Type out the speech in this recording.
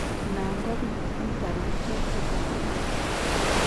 Nan kobitu Intellectual disability